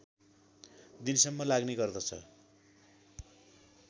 दिनसम्म लाग्ने गर्दछ